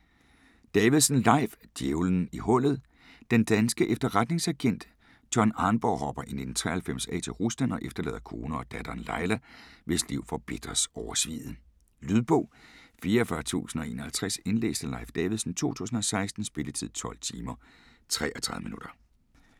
Davidsen, Leif: Djævelen i hullet Den danske efterretningsagent John Arnborg hopper i 1993 af til Rusland og efterlader kone og datteren, Laila, hvis liv forbitres over sviget. Lydbog 44051 Indlæst af Leif Davidsen, 2016. Spilletid: 12 timer, 33 minutter.